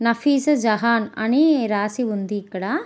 నఫీసా జహాన్ అని రాసి ఉంది ఇక్కడ.